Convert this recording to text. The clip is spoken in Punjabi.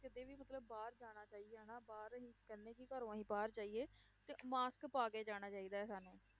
ਕਹਿੰਦੇ ਕਿ ਘਰੋਂ ਅਸੀਂ ਬਾਹਰ ਜਾਈਏ ਤੇ mask ਪਾ ਕੇ ਜਾਣਾ ਚਾਹੀਦਾ ਹੈ ਸਾਨੂੰ